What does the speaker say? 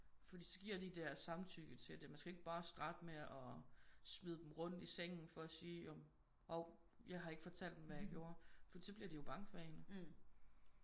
Fordi så giver de deres samtykke til det. Man skal jo ikke bare starte med at smide dem rundt i sengen for at sige jo men hov jeg har ikke fortalt dem hvad jeg gjorde. Fordi så bliver de jo bange for en